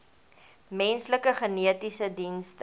menslike genetiese dienste